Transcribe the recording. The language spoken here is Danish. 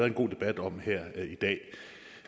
en god debat om her i dag